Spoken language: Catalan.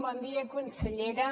bon dia consellera